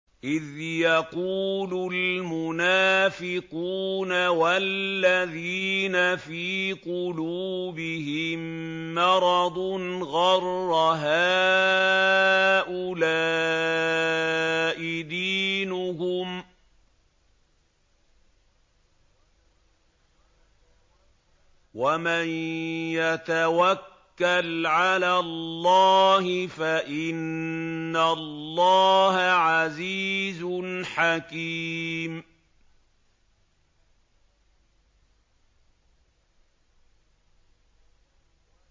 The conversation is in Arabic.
إِذْ يَقُولُ الْمُنَافِقُونَ وَالَّذِينَ فِي قُلُوبِهِم مَّرَضٌ غَرَّ هَٰؤُلَاءِ دِينُهُمْ ۗ وَمَن يَتَوَكَّلْ عَلَى اللَّهِ فَإِنَّ اللَّهَ عَزِيزٌ حَكِيمٌ